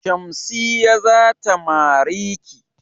Shamsiyya zata mariki.